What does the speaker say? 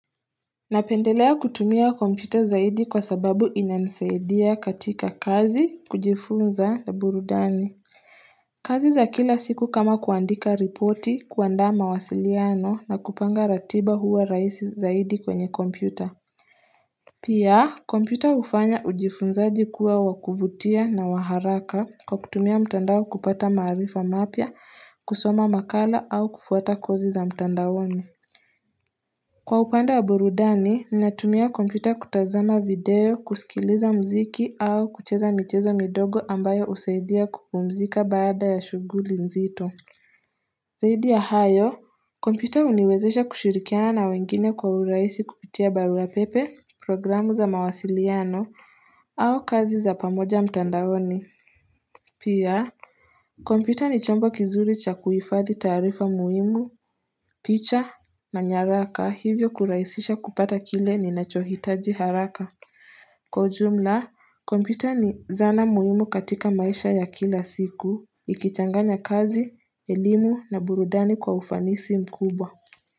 Napendelea kutumia kompyuta zaidi kwa sababu inanisaidia katika kazi kujifunza na burudani kazi za kila siku kama kuandika ripoti, kuandaa mawasiliano na kupanga ratiba huwa rahisi zaidi kwenye kompyuta Pia kompyuta hufanya ujifunzaji kuwa wa kuvutia na wa haraka kwa kutumia mtandao kupata maarifa mapya. Kusoma makala au kufuata kozi za mtandaoni. Kwa upande wa burudani, ninatumia kompyuta kutazama video, kusikiliza muziki au kucheza michezo midogo ambayo husaidia kupumzika baada ya shughuli nzito. Zaidi ya hayo, kompyuta huniwezesha kushirikiana na wengine kwa urahisi kupitia barua pepe, programu za mawasiliano, au kazi za pamoja mtandaoni. Pia, kompyuta ni chombo kizuri cha kuhifadhi taarifa muhimu, picha na nyaraka hivyo kurahisisha kupata kile ninachohitaji haraka. Kwa ujumla, kompyuta ni zana muhimu katika maisha ya kila siku, ikichanganya kazi, elimu na burudani kwa ufanisi mkubwa.